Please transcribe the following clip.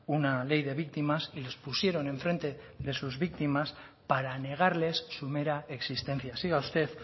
una ley de víctimas y les pusieron en frente de sus víctimas para negarles su mera existencia siga usted